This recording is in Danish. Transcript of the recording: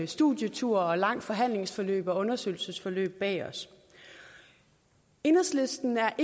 studietur langt forhandlingsforløb og undersøgelsesforløb bag os enhedslisten er